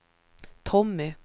Tommy